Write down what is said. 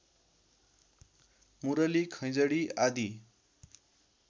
मुरली खैँजडी आदि